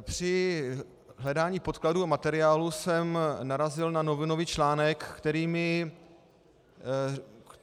Při hledání podkladů a materiálů jsem narazil na novinový článek,